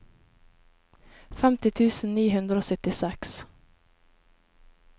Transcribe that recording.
femti tusen ni hundre og syttiseks